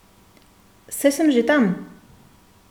Saj sem že tam!